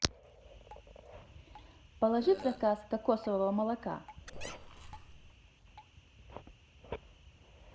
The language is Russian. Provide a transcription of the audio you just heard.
положи в заказ кокосового молока